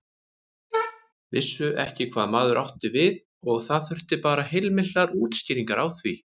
Vissu ekki hvað maður átti við og það þurfti bara heilmiklar útskýringar á því.